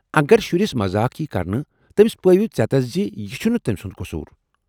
اگر شُرِس مزاق ییہ کرنہٕ، تٔمس پٲوِو ژیتس زِ یہِ چُھنہٕ تمہِ سُند قصوٗر ۔